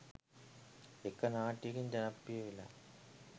එක නාට්‍යයකින් ජනප්‍රිය වෙලා